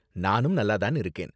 நானும் நல்லா தான் இருக்கேன்.